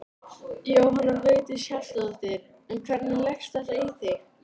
Jóhanna Vigdís Hjaltadóttir: En hvernig leggst þetta í þig?